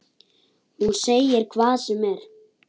Hún segir hvað sem er.